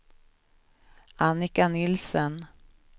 Annika Nielsen